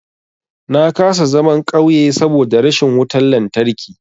Na kasa zaman ƙauye saboda rashin wutan lantarki.